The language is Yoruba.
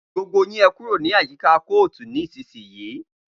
Gbogbo yín ẹkúrò ni àyíkà kòótú nisisiyi!